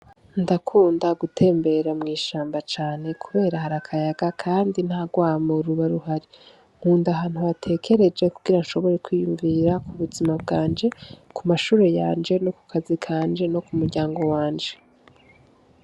Ndakunda gutembera mw'ishamba cane kubera hari akayaga kandi nta rwamo riba ruhari. Nkunda ahantu hatekereje kugira nshobore kwiyumvira ku buzima bwanje, ku mashure yanje no ku kazi kanje no ku muryango wanje.